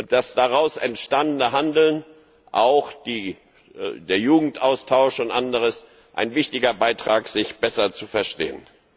Das daraus entstandene Handeln, auch der Jugendaustausch und anderes, ist ein wichtiger Beitrag, um sich besser zu verstehen.